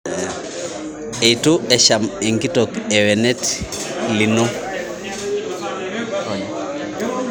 Eitu esham nkitok lwenet lino